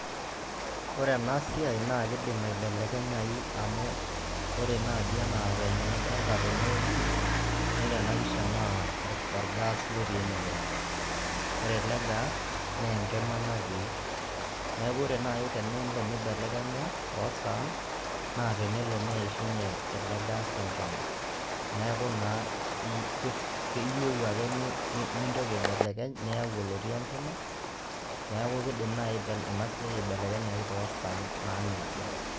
Ore enasiai, na kidim aibelekenyai amu ore naji enaa venye nidolta tenewoji, ore enapisha naa, orgas lotii enewoji. Ore ele gas, nenkima natii. Neeku ore nai tenelo nibelekenya tosaan, na tenelo neishunye ilo gas enkima. Neeku naa iyieu ake nintoki aibelekeny, niyau olotii enkima, neeku kidim nai enasiai aibelekenyayu tosaan. Naa nejia.